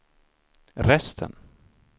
resten